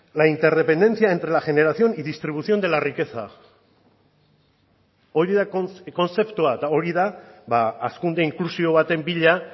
la interdependencia entre la generación y distribución de la riqueza hori da kontzeptua eta hori da hazkunde inklusibo baten bila